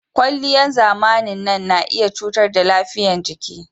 Kwalliyan zamanin nan na iya cutar da lafiyan jiki